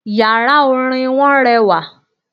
Yàrá Orin wọn rewà